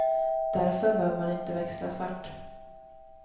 Därför bör man inte växla svart.